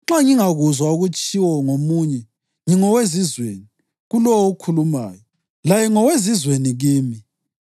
Nxa ngingakuzwa okutshiwo ngomunye, ngingowezizweni kulowo okhulumayo, laye ngowezizweni kimi.